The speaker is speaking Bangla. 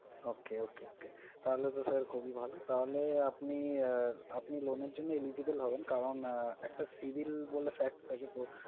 Okay, okay, okay, তাহলে তো sir খুবই ভালো। তাহলে আপনি আহ আপনি loan এর eligible হবেন। কারণ একটা civil বলে fact থাকে তো